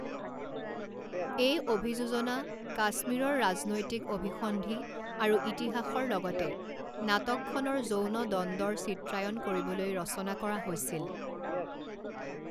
এই অভিযোজনা কাশ্মীৰৰ ৰাজনৈতিক অভিসন্ধি আৰু ইতিহাসৰ লগতে নাটকখনৰ যৌন দ্বন্দ্বৰ চিত্ৰায়ন কৰিবলৈ ৰচনা কৰা হৈছিল।